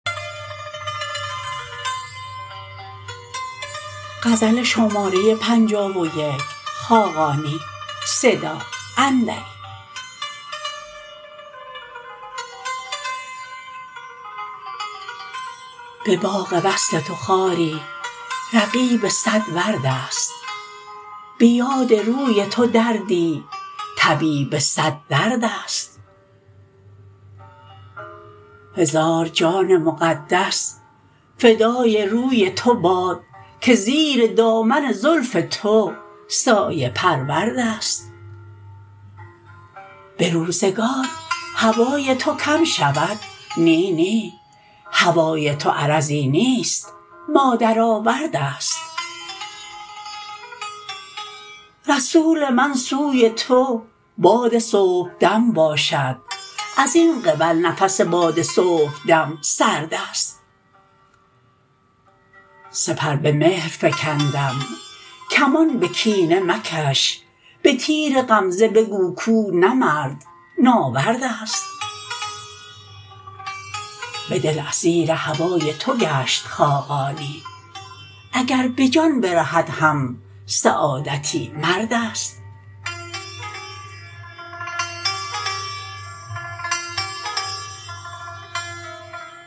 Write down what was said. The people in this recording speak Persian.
به باغ وصل تو خاری رقیب صد ورد است به یاد روی تو دردی طبیب صد درد است هزار جان مقدس فدای روی تو باد که زیر دامن زلف تو سایه پرورد است به روزگار هوای تو کم شود نی نی هوای تو عرضی نیست مادر-آورد است رسول من سوی تو باد صبحدم باشد ازین قبل نفس باد صبحدم سرد است سپر به مهر فکندم کمان به کینه مکش به تیر غمزه بگو کو نه مرد ناورد است به دل اسیر هوای تو گشت خاقانی اگر به جان برهد هم سعادتی مرد است